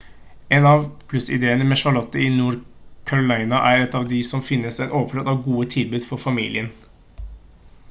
en av plussidene med charlotte i nord-carolina er at det finnes en overflod av gode tilbud for familier